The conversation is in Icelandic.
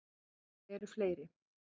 Þau eru fleiri.